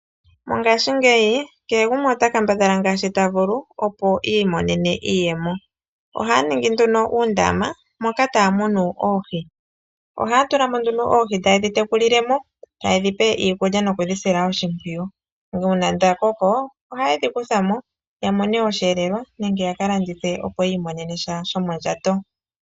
Mongashingeyi kehe gumwe ota kambadhala ngaashi ta vulu opo iimonene iiyemo. Ohaya ningi nduno uundama moka taya munu oohi. Ohaya tulamo oohi etaye dhi tekulile mo, taye dhi pe iikulya nokudhi sila oshimpwiyu. Una dha koko, ohaye dhi kuthamo ya mone oshiyelelwa nenge yaka landithe opo yi imonene sha shomondjato.